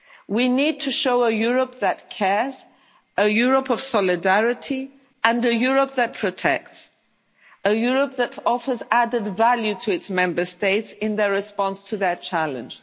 spread. We need to show a Europe that cares, a Europe of solidarity, and a Europe that protects, a Europe that offers added value to its Member States in their response to that challenge.